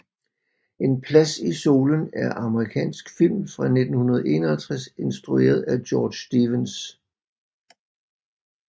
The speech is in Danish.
En plads i solen er amerikansk film fra 1951 instrueret af George Stevens